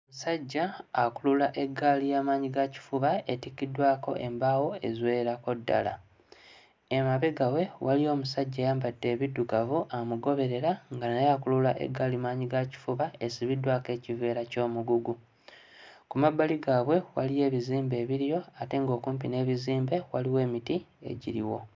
Ssajja akulula eggaali ya maanyigakifuba etikkiddwako embaawo eziwererako ddala. Emabega we waliyo omusajja ayambadde ebiddugavu amugoberera nga naye akulula eggaali maanyigakifuba esibiddwako ekiveera ky'omugugu. Ku mabbali gaabwe waliyo ebizimbe ebiriyo ate ng'okumpi n'ebizimbe waliwo emiti egiriwo.